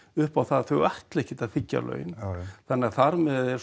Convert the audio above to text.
upp á það að þau ætla ekkert að þiggja laun þannig að þar með er